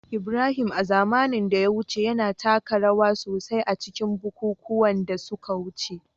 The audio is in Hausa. Ibrahim, a zamanin da ya wuce, yana taka rawa sosai a cikin bukukuwan da suka wuce